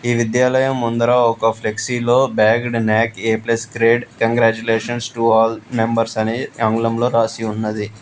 ఈ విద్యాలయం ముందర ఒక ఫ్లెక్సీలో bagged NAAC A plus grade congratulations to all members అని ఆంగ్లంలో రాసి ఉన్నది.